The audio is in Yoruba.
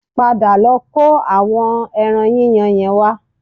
Padà lọ kó àwọn ẹran yíyan yẹn wá